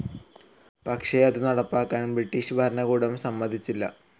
പക്ഷെ അതു നടപ്പാക്കാൻ ബ്രിട്ടീഷു ഭരണകൂടം സമ്മതിച്ചില്ല.